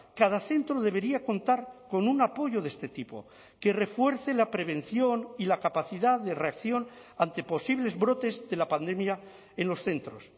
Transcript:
cada centro debería contar con un apoyo de este tipo que refuerce la prevención y la capacidad de reacción ante posibles brotes de la pandemia en los centros